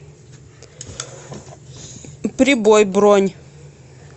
прибой бронь